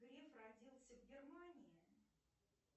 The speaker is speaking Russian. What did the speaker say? греф родился в германии